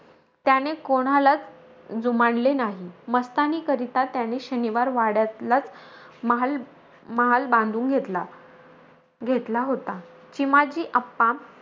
त्याने कोणालाचं जुमानले नाही. मस्तानीकरता, त्याने शनिवारवाड्यातलाचं महाल-महाल बांधून घेतला घेतला होता. चिमाजी अप्पा,